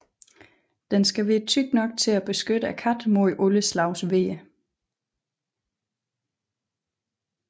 Den skal være tyk nok til at beskytte katten mod alle slags vejr